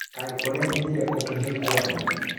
Kaĩ urehithire ũgĩthie kwanyu.